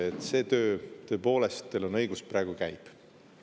Et see töö, tõepoolest, teil on õigus, praegu käib.